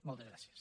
moltes gràcies